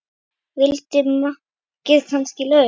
Vildi makker kannski LAUF?